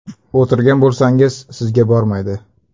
O‘tirgan bo‘lsangiz, sizga bormaydi.